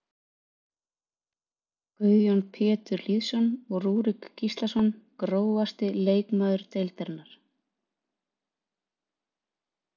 Guðjón Pétur Lýðsson og Rúrik Gíslason Grófasti leikmaður deildarinnar?